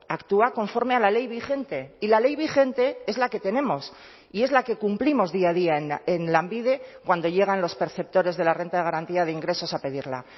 actúa conforme a la ley vigente y la ley vigente es la que tenemos y es la que cumplimos día a día en lanbide cuando llegan los perceptores de la renta de garantía de ingresos a pedirla